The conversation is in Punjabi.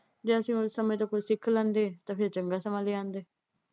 ਜੇ ਅਸੀਂ ਉਹੀ ਸਮੇਂ ਤੋਂ ਕੁਝ ਸਿੱਖ ਲੈਂਦੇ ਤਾਂ ਫਿਰ ਚੰਗਾ ਸਮਾਂ ਲੈ ਆਉਂਦੇ।